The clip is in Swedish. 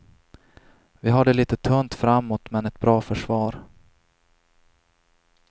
Vi har det lite tunt framåt men ett bra försvar.